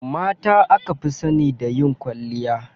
Mata aka fi sani da yin kwalliya.